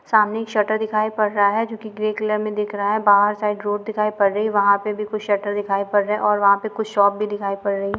सामने एक शटर दिखाई पड़ रहा है जो कि ग्रे कलर में दिख रहा है बहार साइड रोड दिखाई पड़ रही है वहाँ पर भी कुछ शटर दिखाई पड़ रहे है और वहा पे कुछ शॉप भी दिखाई पड़ रही है।